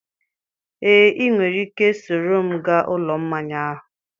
Ee, ị nwere ike soro m gaa Ụlọ Mmanya ahụ.